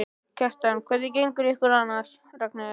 Kjartan: Hvernig gengur ykkur annars, Ragnheiður?